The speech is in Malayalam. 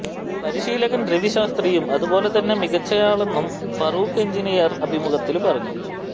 പരിശീലകന് രവിശാസ്ത്രിയും അതുപോലെ തന്നെ മികച്ചയാളാണെന്നും ഫറൂഖ് എന്ജിനിയര് അഭിമുഖത്തില് പറഞ്ഞു